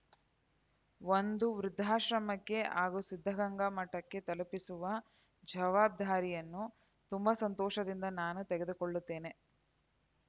ಒಂದು ವೃದ್ಧಾಶ್ರಮಕ್ಕೆ ಹಾಗೂ ಸಿದ್ದಗಂಗಾ ಮಠಕ್ಕೆ ತಲುಪಿಸುವ ಜವಾಬ್ದಾರಿಯನ್ನು ತುಂಬಾ ಸಂತೋಷದಿಂದ ನಾನೇ ತೆಗೆದುಕೊಳ್ಳುತ್ತೇನೆ